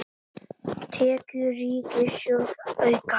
Tekjur ríkissjóðs aukast